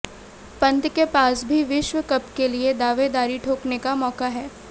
पंत के पास भी विश्व कप के लिए दावेदारी ठोकने का मौका है